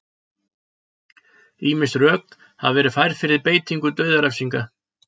Ýmis rök hafa verið færð fyrir beitingu dauðarefsinga.